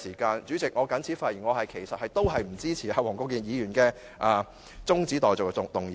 代理主席，我謹此發言，我不支持黃國健議員提出的中止待續議案。